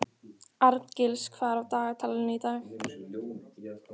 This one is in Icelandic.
Arngils, hvað er á dagatalinu í dag?